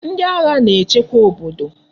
Ndi agha na echekwa obodo